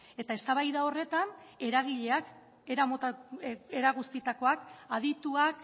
eta eztabaida horretan eragileak era guztietakoak adituak